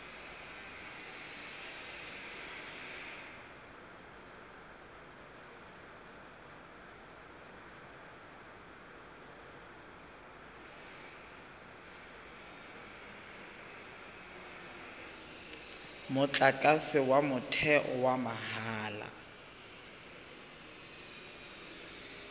motlakase wa motheo wa mahala